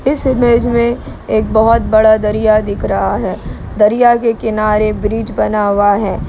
इस इमेज में एक बहोत बड़ा दरिया दिख रहा है दरिया के किनारे ब्रिज बना हुआ है।